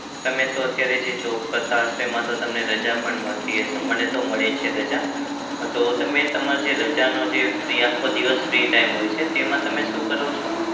તમે તો અત્યારે જે job કરતા હશો એમાં તો તમને રજા પણ મળતી હશે. મને તો મળે છે રજા. હા તો તમે તમારે જે રજાનો જે free આખો દિવસ free time હોય છે તેમાં તમે શું કરો છો?